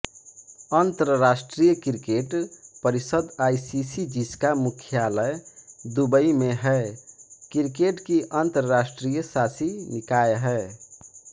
अंतर्राष्ट्रीय क्रिकेट परिषद आईसीसी जिसका मुख्यालय दुबई में है क्रिकेट की अंतर्राष्ट्रीय शासी निकाय है